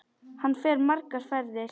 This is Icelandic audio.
Hann fer margar ferðir.